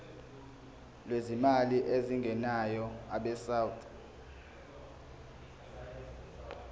lwezimali ezingenayo abesouth